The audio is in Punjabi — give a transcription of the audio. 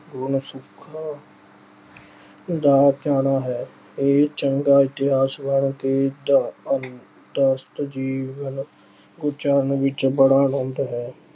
ਦਾ ਹੈ। ਇਹ ਚੰਗਾ ਤੇ ਜੀਵਨ ਉਚਾਰਨ ਵਿੱਚ ਬੜਾ ਆਨੰਦ ਹੈ।